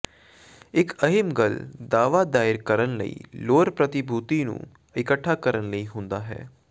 ਇੱਕ ਅਹਿਮ ਗੱਲ ਦਾਅਵਾ ਦਾਇਰ ਕਰਨ ਲਈ ਲੋੜ ਪ੍ਰਤੀਭੂਤੀ ਨੂੰ ਇੱਕਠਾ ਕਰਨ ਲਈ ਹੁੰਦਾ ਹੈ